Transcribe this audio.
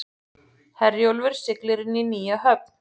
Herjólfur siglir inn í nýja höfn